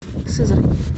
сызрань